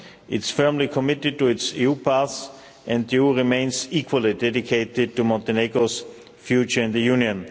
It's firmly committed to its EU path and the EU remains equally dedicated to Montenegro's future in the Union.